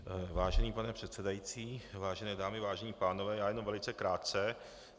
Vážený pane předsedající, vážené dámy, vážení pánové, já jenom velice krátce.